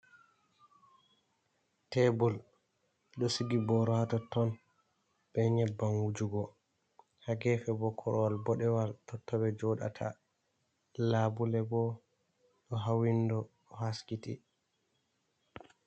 Teebur ɗo sigi booro haa totton bee nyebbam wujugo, haa geefe boo korowal boɗewal totton ɓe jooɗata. Laabule boo ɗo haa winndo ɗo haskiti.